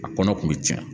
A kɔnɔ kun bɛ cɛn